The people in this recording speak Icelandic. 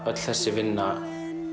öll þessi vinna